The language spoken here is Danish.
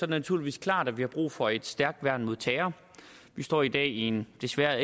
naturligvis klart at vi har brug for et stærkt værn mod terror vi står i dag i en desværre